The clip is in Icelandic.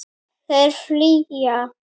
Þeir flýja.